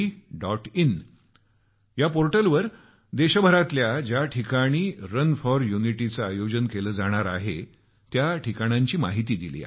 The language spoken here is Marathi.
in या पोर्टलवर देशभरातल्या ज्या ठिकाणी रन फॉर युनिटीच आयोजन केलं जाणार आहे त्या ठिकाणांची माहिती दिली आहे